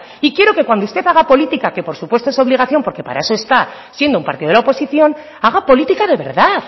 y quiero que cuando usted haga política que por supuesto es obligación porque para eso está siendo un partido de la oposición haga política de verdad